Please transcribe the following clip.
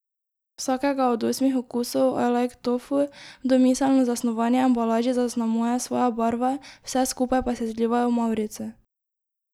Vsakega od osmih okusov I Like Tofu v domiselno zasnovani embalaži zaznamuje svoja barva, vse skupaj pa se zlivajo v mavrico.